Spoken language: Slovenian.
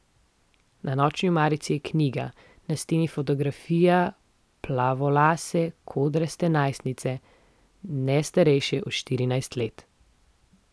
Na nočni omarici je knjiga, na steni fotografija plavolase kodraste najstnice, ne starejše od štirinajst let.